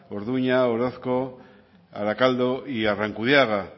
orduña orozko arakaldo y arrankudiaga